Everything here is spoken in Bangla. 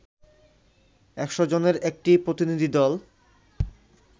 একশ জনের একটি প্রতিনিধি দল